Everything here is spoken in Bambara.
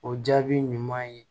O jaabi ɲuman ye